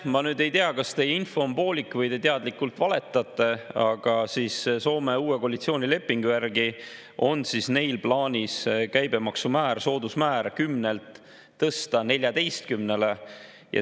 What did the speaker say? Ma nüüd ei tea, kas teie info on poolik või te teadlikult valetate, aga Soome uue koalitsiooni lepingu järgi on neil plaanis käibemaksumäär, soodusmäär 10%‑lt tõsta 14%‑le.